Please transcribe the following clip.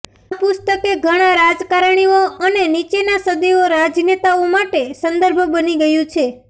આ પુસ્તકે ઘણા રાજકારણીઓ અને નીચેના સદીઓ રાજનેતાઓ માટે સંદર્ભ બની ગયું છે